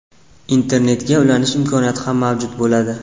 Internetga ulanish imkoniyati ham mavjud bo‘ladi.